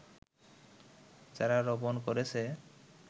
যারা রোপন করেছে